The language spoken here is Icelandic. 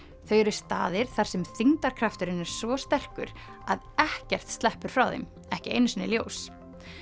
þau eru staðir þar sem þyngdarkrafturinn er svo sterkur að ekkert sleppur frá þeim ekki einu sinni ljós